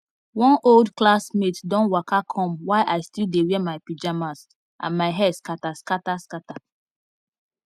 one old classmate don waka come while i still dey wear my pajamas and my hair scatter scatter scatter